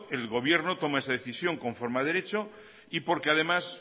el gobierno toma esa decisión conforme a derecho y porque además